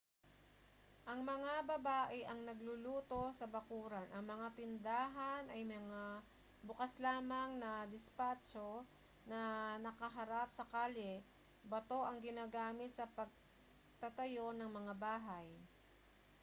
ang mga babae ang nagluluto sa bakuran ang mga tindahan ay mga bukas lamang na dispatso na nakaharap sa kalye bato ang ginamit sa pagtatayo ng mga bahay